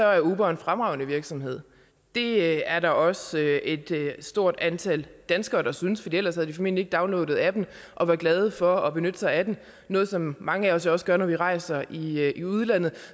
er uber en fremragende virksomhed det er der også et stort antal danskere der synes for ellers havde de formentlig ikke downloadet appen og været glade for at benytte sig af den noget som mange af os jo også gør når vi rejser i udlandet